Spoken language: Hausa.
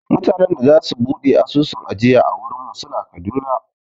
Mutanen da za su buɗe asusun ajiya a wurin mu suna Kaduna